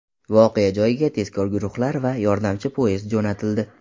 Voqea joyiga tezkor guruhlar va yordamchi poyezd jo‘natildi.